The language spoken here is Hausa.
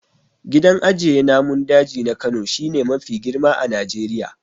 Gidan ajiye namun daji na Kano shi ne mafi girma a Najeriya.